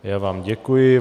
Já vám děkuji.